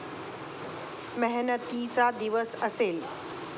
मेहनतीचा दिवस असेल.